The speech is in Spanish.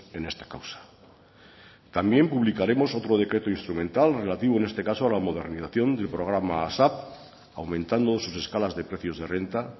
en esta causa también publicaremos otro decreto instrumental relativo en este caso a la modernización del programa asap aumentando sus escalas de precios de renta